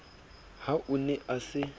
ha o ne a se